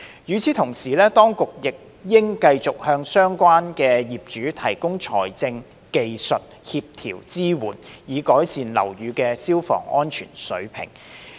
與此同時，當局亦應繼續向相關業主提供財政、技術和協調支援，以改善樓宇的消防安全水平。